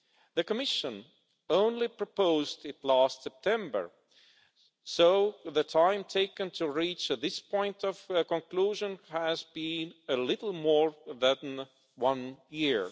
The Commission only proposed it last September so the time taken to reach this point of conclusion has been a little more than a year.